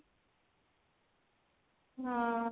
ହଁ